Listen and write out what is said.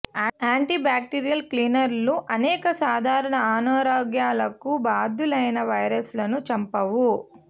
anti bacterial క్లీనర్లు అనేక సాధారణ అనారోగ్యాలకు బాధ్యులైన వైరస్లను చంపవు